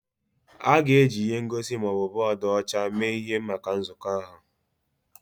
A ga-eji ihe ngosi ma ọ bụ bọọdụ ọcha mee ihe maka nzukọ ahụ?